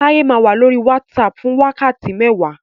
Táyẹ́ máa wá lórí WhatsApp fún wákàtí mẹ́wàá